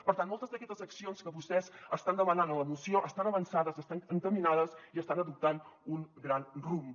per tant moltes d’aquestes accions que vostès estan demanant en la moció estan avançades estan encaminades i estan adoptant un gran rumb